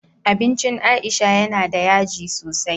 Abincin aisha yana da yaji sosai